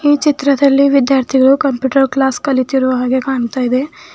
ಈ ಚಿತ್ರದಲ್ಲಿ ವಿದ್ಯಾರ್ಥಿಗಳು ಕಂಪ್ಯೂಟರ್ ಕ್ಲಾಸ್ ಕಲಿತಿರುವ ಹಾಗೆ ಕಾಣ್ತಾ ಇದೆ.